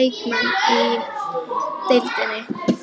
leikmenn í deildinni?